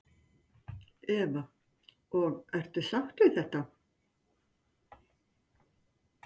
Eva: Og ertu sátt við þetta?